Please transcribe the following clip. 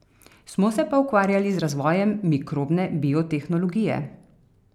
Smo se pa ukvarjali z razvojem mikrobne biotehnologije.